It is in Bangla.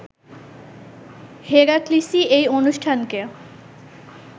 হেরাক্লিসই এই অনুষ্ঠানকে